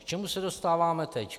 K čemu se dostáváme teď?